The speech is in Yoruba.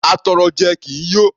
Atọrọjẹ kì í yó.